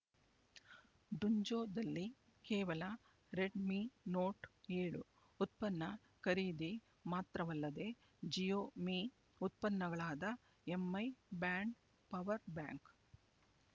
ಡುನ್ಝೋದಲ್ಲಿ ಕೇವಲ Redmi Note ಏಳು ಉತ್ಪನ್ನ ಖರೀದಿ ಮಾತ್ರವಲ್ಲದೆ ಜಿಯೋ ಮೀ ಉತ್ಪನ್ನಗಳಾದ ಎಂಐ ಬ್ಯಾಂಡ್ ಪವರ್ ಬ್ಯಾಂಕ್